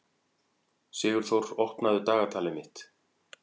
Sigurþór, opnaðu dagatalið mitt.